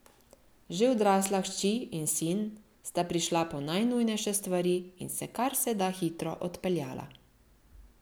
Že odrasla hči in sin sta prišla po najnujnejše stvari in se kar se da hitro odpeljala.